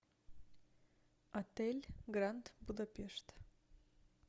отель гранд будапешт